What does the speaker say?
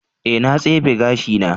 Ee, na tsefe gashina.